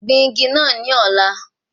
Gbìn igi naa ní òní!